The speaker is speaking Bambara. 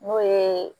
N'o ye